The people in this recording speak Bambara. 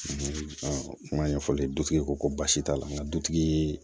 kuma ɲɛfɔli dutigi ko baasi t'a la n ka dutigi ye